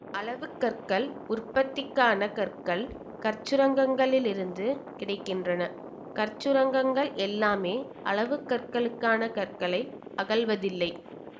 அளவுக் கற்கள் உற்பத்திக்கான கற்கள் கற்சுரங்கங்களில் இருந்து கிடை கின்றன கற்சுரங்கங்கள் எல்லாமே அளவு கற்களுக்கான கற்களை அகழ்வதில்லை